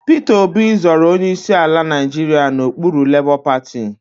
Peter Obi zọrọ onyeisi ala Nigeria n'okpuru labour party